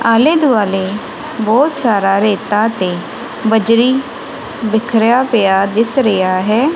ਆਲੇ ਦੁਆਲੇ ਬਹੁਤ ਸਾਰਾ ਰੇਤਾ ਤੇ ਬਜਰੀ ਬਿਖਰਿਆ ਪਿਆ ਦਿਸ ਰਿਹਾ ਹੈ।